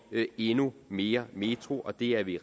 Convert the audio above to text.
endnu mere metro og det er vi